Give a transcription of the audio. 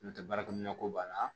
N'o tɛ baarakɛminɛn ko b'a la